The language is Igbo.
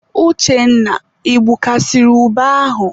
Uchenna, I gbukasiri ube ahụ?